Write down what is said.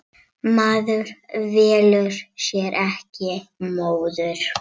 Maður velur sér ekki móður.